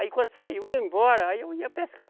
Aí quando saiu, ia embora, aí eu ia pescar.